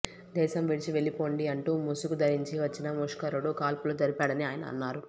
దేశం విడిచి వెళ్లిపోండి అంటూ ముసుగు ధరించి వచ్చిన ముష్కరుడు కాల్పులు జరిపాడని ఆయన అన్నారు